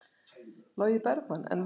Logi Bergmann: En verð?